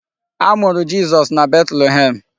A mụrụ Jizọs na Betlehem.